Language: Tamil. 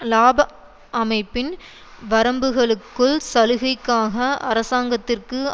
இலாப அமைப்பின் வரம்புகளுக்குள் சலுகைக்காக அரசாங்கத்திற்கு